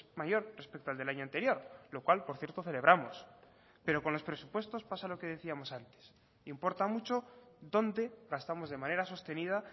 mayor respecto al del año anterior lo cual por cierto celebramos pero con los presupuestos pasa lo que decíamos antes importa mucho dónde gastamos de manera sostenida